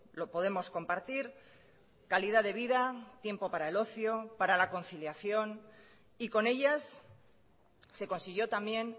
lo podemos compartir calidad de vida tiempo para el ocio para la conciliación y con ellas se consiguió también